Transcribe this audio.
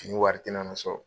Fini wari tɛ na na sɔrɔ.